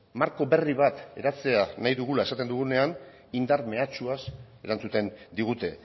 marko berri bat eratzea nahi dugula esaten dugunean indar mehatxuaz erantzuten digute